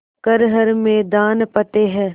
कर हर मैदान फ़तेह